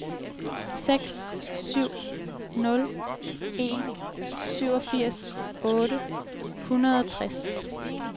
seks syv nul en syvogfirs otte hundrede og tres